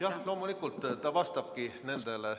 Jah, loomulikult, ta vastabki sellele.